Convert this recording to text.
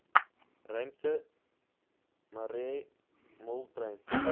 ruimte marais moltrein